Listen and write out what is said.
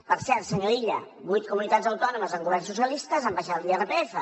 per cert senyor illa vuit comunitats autònomes amb governs socialistes han abaixat l’irpf